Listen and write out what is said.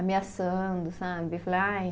Ameaçando, sabe? Eu falei, ai